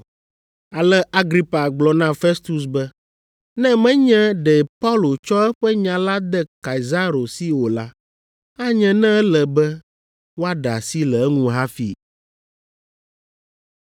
Ale Agripa gblɔ na Festus be, “Ne menye ɖe Paulo tsɔ eƒe nya la de Kaisaro si o la, anye ne ele be woaɖe asi le eŋu hafi.”